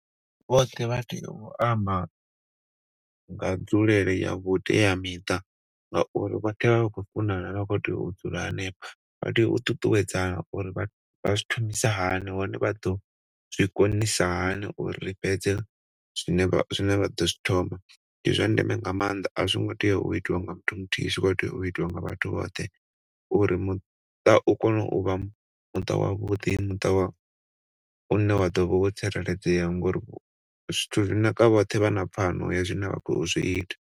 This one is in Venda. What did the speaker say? Vhoṱhe vha tea u amba nga dzulele ya vhuteamiṱa ngauri vha tea u vha vha khou funana vha khou tea u dzula hanefha. Vha tea u ṱuṱuwedzana uri vha zwi thomisa hani hone vha ḓo zwikonisa hani uri fhedze zwine vha ḓo zwi thoma. Ndi zwa ndeme nga maanḓa a zwi ngo tea u itiwa nga muthu muthihi zwi khou tea u itiwa nga vhathu vhoṱhe uri muṱa u kone u vha muṱa wavhuḓi une u ḓo vha wo tsireledzea ngauri zwithu zwi naka vhoṱhe vha na pfano ya zwine vha khou zwiita.